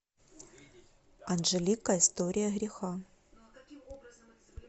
анджелика история греха